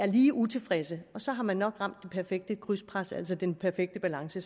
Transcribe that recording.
lige utilfredse og så har man nok ramt det perfekte krydspres altså den perfekte balance